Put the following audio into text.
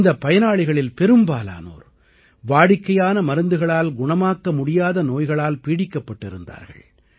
இந்தப் பயனாளிகளில் பெரும்பாலானோர் வாடிக்கையான மருந்துகளால் குணமாக்க முடியாத நோய்களால் பீடிக்கப்பட்டிருந்தார்கள்